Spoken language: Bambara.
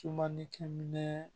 Sumanikɛ minɛ